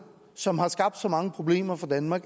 som har skabt så mange problemer for danmark